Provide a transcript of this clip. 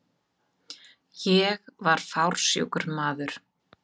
Ég var fársjúkur maður.